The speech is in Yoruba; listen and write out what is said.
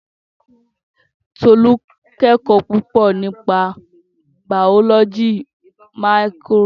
Tolú kẹ́kọ̀ọ́ púpọ̀ nípa bàọ́lọ́jì máíkirò